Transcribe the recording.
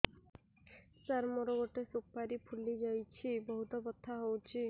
ସାର ମୋର ଗୋଟେ ସୁପାରୀ ଫୁଲିଯାଇଛି ବହୁତ ବଥା ହଉଛି